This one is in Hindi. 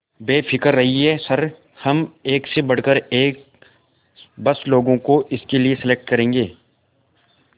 बेफिक्र रहिए सर हम एक से बढ़कर एक बस लोगों को इसके लिए सेलेक्ट करेंगे